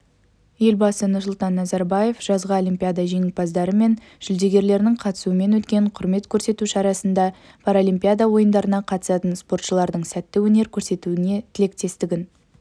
елбасы нұрсұлтан назарбаев жазғы олимпиада жеңімпаздары мен жүлдергерлерінің қатысуымен өткен құрмет көрсету шарасында паралимпиада ойындарына қатысатын спортшылардың сәтті өнер көрсетуіне тілектестігін